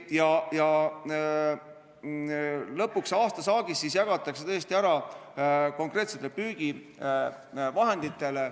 Lõpuks jagatakse aastasaak tõesti ära konkreetsetele püügivahenditele.